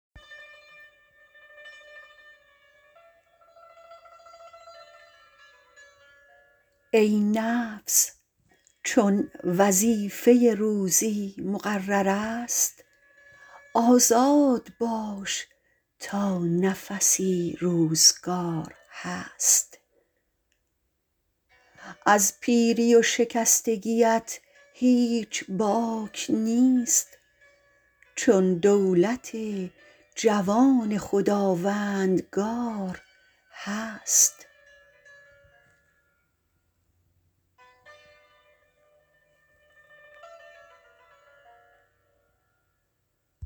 ای نفس چون وظیفه روزی مقررست آزاد باش تا نفسی روزگار هست از پیری و شکستگیت هیچ باک نیست چون دولت جوان خداوندگار هست